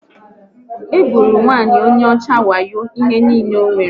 Ha gburu nwanyị onye ọcha wayo ihe niile o nwere